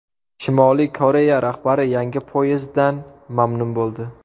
Shimoliy Koreya rahbari yangi poyezddan mamnun bo‘ldi.